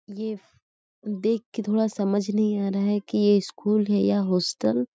ये देख के थोड़ा समझ नहीं आ रहा है कि ये स्कूल है या होस्टल --